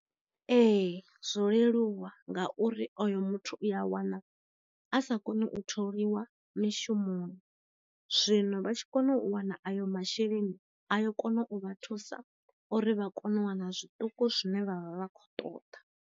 Ee zwo leluwa ngauri oyo muthu u a wana a sa koni u tholiwa mishumoni, zwino vha tshi kona u wana ayo masheleni aya kona u vha thusa uri vha kone u wana zwiṱuku zwine vha vha vha kho ṱoḓa.